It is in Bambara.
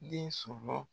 Den sɔrɔ